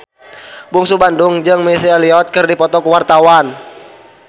Bungsu Bandung jeung Missy Elliott keur dipoto ku wartawan